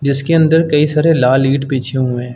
जिसके अंदर कई सारे लाल ईट बिछे हुए हैं।